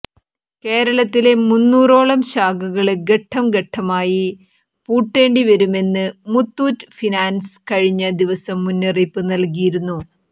കേരളത്തിലെ മുന്നൂറോളം ശാഖകള് ഘട്ടംഘട്ടമായി പൂട്ടേണ്ടിവരുമെന്ന് മുത്തൂറ്റ് ഫിനാന്സ് കഴിഞ്ഞ ദിവസം മുന്നറിയിപ്പ് നല്കിയിരുന്നു